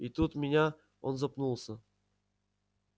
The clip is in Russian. и тут меня он запнулся